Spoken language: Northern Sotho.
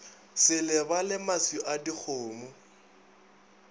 se lebale maswi a dikgomo